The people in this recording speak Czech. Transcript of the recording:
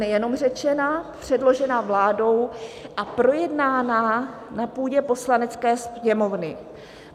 Nejenom řečena, předložena vládou a projednána na půdě Poslanecké sněmovny.